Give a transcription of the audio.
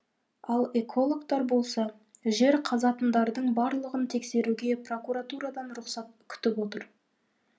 ал экологтар болса жер қазатындардың барлығын тексеруге прокуратурадан рұқсат күтіп отыр